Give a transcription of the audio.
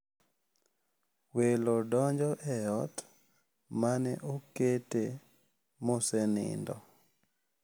Welo donjo e ot ma ne okete mosenindo.